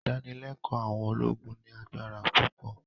Ìdánilẹ́kọ̀ọ́ àwọn ológun ní agbára púpọ̀